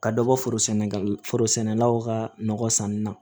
Ka dɔ bɔ foro sɛnɛgali foro sɛnɛlaw ka nɔgɔ sanni na